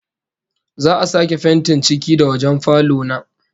Za'a sake fentin ciki da wajen falo na